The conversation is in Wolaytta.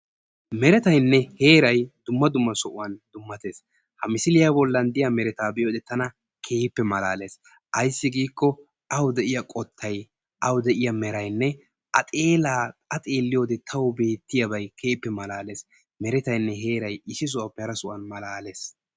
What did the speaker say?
Meretaynne heeray dumma dumma sohuwaan dummatees. ha misiliyaa boollan diyaa meretaa be'iyode tana keehippe malalees. ayssi giiko awu de'iyaa qoottay awu de'iyaa meraynne a xeellaa a xelliyoode tawu beettiyaabay keehppe malaales. meretaynne heeray issi sohuwaape hara sohuwaan malalees.